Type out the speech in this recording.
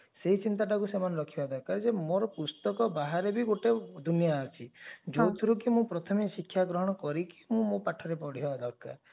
ସେଇ ଚିନ୍ତାଟାକୁ ସେମାନେ ରଖିବା ଦୋରକାର ଯେ ମୋର ପୁସ୍ତକ ବାହାରେ ବି ଗୋଟେ ଦୁନିଆ ଅଛି ଯଉଥିରେ କି ମୁଁ ପ୍ରଥମେ ଶିକ୍ଷା ଗ୍ରହଣ କରିକି ମୁ ମୋ ପାଠରେ ପଢିବା ଦରକାର